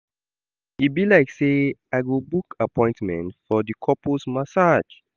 E be like sey I go book appointment for di couples massage.